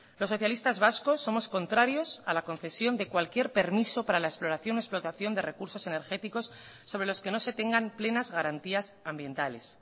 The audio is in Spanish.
los socialistas vascos somos contrarios a la concesión de cualquier permiso para la exploración explotación de recursos energéticos sobre los que no se tengan plenas garantías ambientales